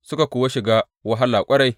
Suka kuwa shiga wahala ƙwarai.